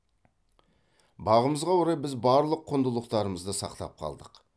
бағымызға орай біз барлық құндылықтарымызды сақтап қалдық